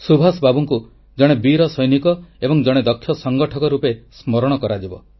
ସୁଭାଷ ବାବୁଙ୍କୁ ସବୁବେଳେ ଜଣେ ବୀର ସୈନିକ ଏବଂ ଜଣେ ଦକ୍ଷ ସଂଗଠକ ରୂପେ ସ୍ମରଣ କରାଯିବ